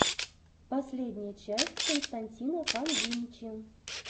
последняя часть константина фанвинчи